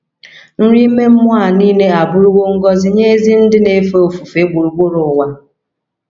Nri ime mmụọ a nile abụrụwo ngọzi nye ezi ndị na - efe ofufe gburugburu ụwa.